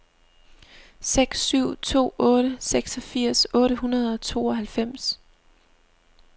seks syv to otte seksogfirs otte hundrede og tooghalvfems